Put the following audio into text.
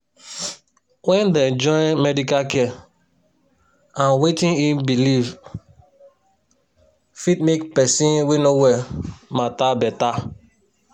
wen dey join medical care and medical care and wetin e belief fit make person wey no well matter beta.